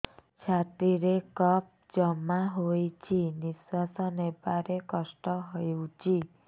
ଛାତିରେ କଫ ଜମା ହୋଇଛି ନିଶ୍ୱାସ ନେବାରେ କଷ୍ଟ ହେଉଛି